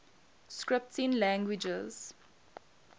scripting languages